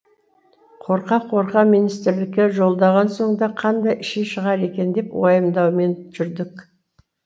қорқа қорқа министрлікке жолдаған соң да қандай ши шығар екен деп уайымдаумен жүрдік